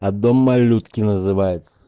а дом малютки называется